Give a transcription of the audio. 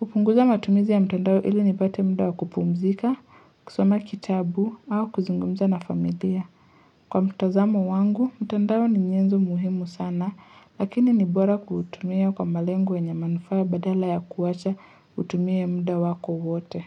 hupunguza matumizi ya mtandao ili nipate muda wa kupumzika, kusoma kitabu, au kuzungumza na familia. Kwa mtazamo wangu, mtandao ni nyenzo muhimu sana, lakini ni bora kuutumia kwa malengo wenye manufaa badala ya kuwacha kutumia muda wako wote.